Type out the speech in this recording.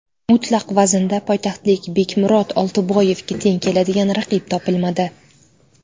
Mutlaq vaznda poytaxtlik Bekmurod Oltiboyevga teng keladigan raqib topilmadi.